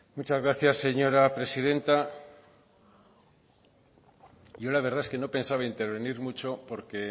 muchas gracias señora presidenta yo la verdad es que no pensaba intervenir mucho porque